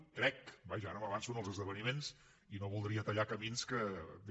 ho crec vaja ara m’avanço als esdeveniments i no voldria tallar camins que vés